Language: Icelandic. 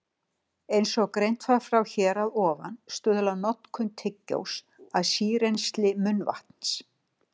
Eins og greint var frá hér að ofan stuðlar notkun tyggjós að sírennsli munnvatns.